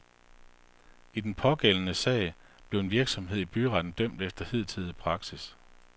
I den pågældende sag blev en virksomhed i byretten dømt efter hidtidig praksis.